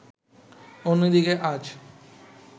অন্যদিকে আজ